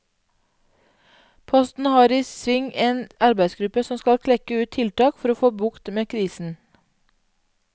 Posten har i sving en arbeidsgruppe som skal klekke ut tiltak for å få bukt med krisen.